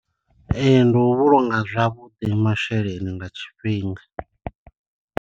Ee ndi u vhulunga zwavhuḓi masheleni nga tshifhinga.